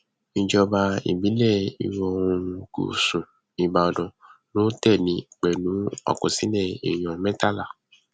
ìjọba ìbílẹ ìwọoòrùn gúúsù ìbàdàn ló tẹlé e pẹlú àkọsílẹ èèyàn mẹtàlá